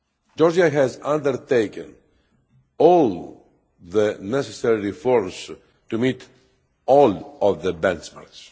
Georgia has undertaken all the necessary efforts to meet all of the benchmarks.